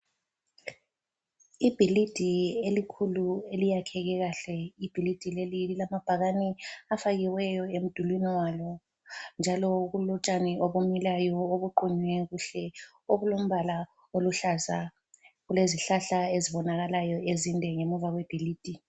Ibhilidi elikhulu eliyakheke kahle. Ibhilidi leli lilamabhakane afakiweyo emdulini walo njalo kulotshani obumilayo obuqunywe kuhle obulombala oluhlaza. Kulezihlahla ezibonakalayo ezinde ngemva kwebhilidi.